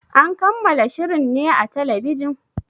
An kammala shirin ne a talbijin?